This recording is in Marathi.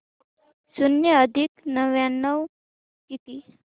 शून्य अधिक नव्याण्णव किती